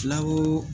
Fulaw